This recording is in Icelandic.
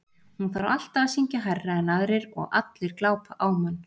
Hún þarf alltaf að syngja hærra en aðrir og allir glápa á mann